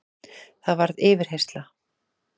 Það varð yfirheyrsla.